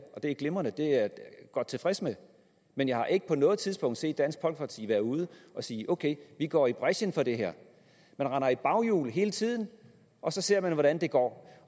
og det er glimrende det er jeg godt tilfreds med men jeg har ikke på noget tidspunkt set dansk folkeparti være ude og sige ok vi går i brechen for det her man render i baghjul hele tiden og så ser man hvordan det går